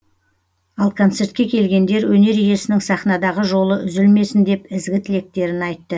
ал концертке келгендер өнер иесінің сахнадағы жолы үзілмесін деп ізгі тілектерін айтты